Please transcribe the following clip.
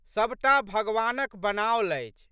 सब टा भगवानक बनाओल अछि।